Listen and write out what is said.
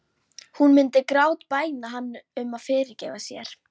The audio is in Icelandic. Hún myndi grátbæna hann um að fyrirgefa sér.